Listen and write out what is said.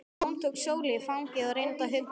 Jón tók Sólu í fangið og reyndi að hugga hana.